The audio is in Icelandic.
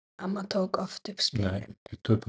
Við töpuðum á báðum stöðum.